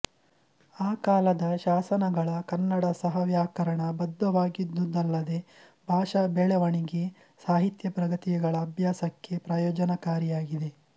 ಆ ಕಾಲದ ಶಾಸನಗಳ ಕನ್ನಡ ಸಹ ವ್ಯಾಕರಣಬದ್ಧವಾಗಿದ್ದುದಲ್ಲದೆ ಭಾಷಾ ಬೆಳೆವಣಿಗೆ ಸಾಹಿತ್ಯ ಪ್ರಗತಿಗಳ ಅಭ್ಯಾಸಕ್ಕೆ ಪ್ರಯೋಜನಕಾರಿಯಾಗಿದೆ